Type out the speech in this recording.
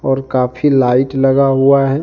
और काफी लाइट लगा हुआ है।